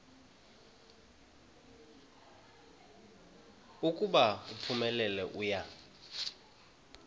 ukuba uphumelele uya